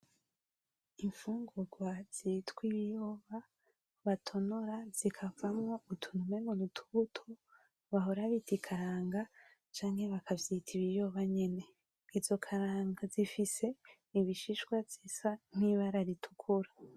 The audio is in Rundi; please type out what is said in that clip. Infungurwa zitwa ibiyoba batonora zikavamwo utuntu umengo n’utubuto bahora bita ikaranga canke bakavyita ibiyoba nyene. Izo karanga zifise ibishishwa zisa nk’ibara ritukura.